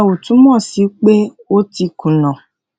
ìyẹn ò túmò sí pé o ti kùnà